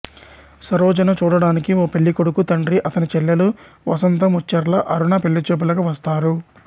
సరోజను చూడడానికి ఓ పెళ్ళికొడుకు తండ్రి అతని చెల్లెలు వసంత ముచ్చెర్ల అరుణ పెళ్ళిచూపులకు వస్తారు